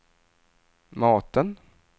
maten